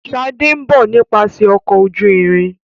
Shade nbọ nípasẹ Ọkọ̀ ojú-irin.